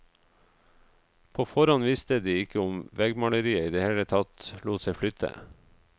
På forhånd visste de ikke om veggmaleriet i det hele tatt lot seg flytte.